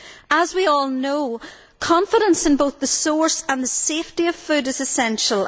As we all know, confidence in both the source and the safety of food is essential.